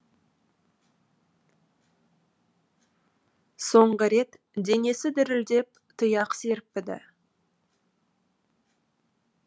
соңғы рет денесі дірілдеп тұяқ серіппіді